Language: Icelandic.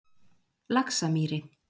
Laxamýri